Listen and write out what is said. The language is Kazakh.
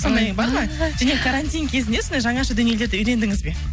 сондай бар ма және карантин кезінде сондай жаңаша дүниелерді үйрендіңіз бе